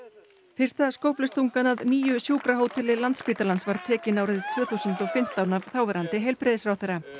fyrsta skóflustungan að nýju sjúkrahóteli Landspítalans var tekin árið tvö þúsund og fimmtán af þáverandi heilbrigðisráðherra